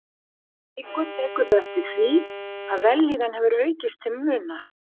Eftir viku tekurðu eftir því, að vellíðan hefur aukist til muna.